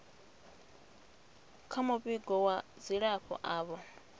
kha muvhigo wa dzilafho avho